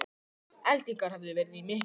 Eldingar hefðu verið í mekkinum